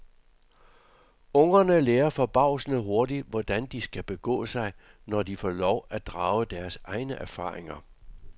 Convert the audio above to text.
Ungerne lærer forbavsende hurtigt, hvordan de skal begå sig, når de får lov at drage deres egne erfaringer.